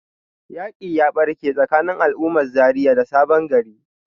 yaƙi ya barke tsakanin al'ummar Zaria da sabon gari.